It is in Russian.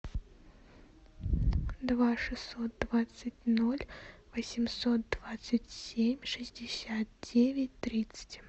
два шестьсот двадцать ноль восемьсот двадцать семь шестьдесят девять тридцать